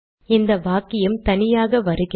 இந்த வாக்கியம் தனியாக வருகிறது